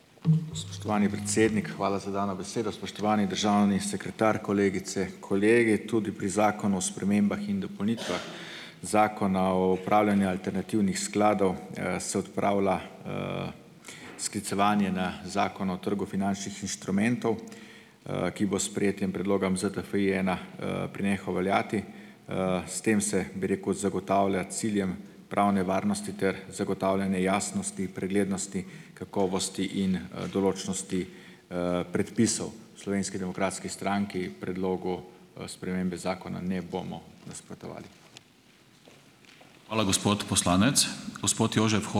Spoštovani predsednik, hvala za dano besedo. Spoštovani državni sekretar, kolegice, kolegi. Tudi pri zakonu o spremembah in dopolnitvah zakona o upravljanju alternativnih skladov, se odpravlja, sklicevanje na zakon o trgu finančnih inštrumentov, ki bo s sprejetjem predloga ZTFI-ena, prenehal veljati. S tem se, bi rekel, zagotavlja ciljem pravne varnosti ter zagotavljanje jasnosti in preglednosti, kakovosti in, določnosti, predpisov. V Slovenski demokratski stranki predlogu, spremembe zakona ne bomo nasprotovali.